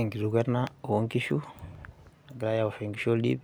Enkituko ena oonkishu, egirai aoshoki nkishu oldip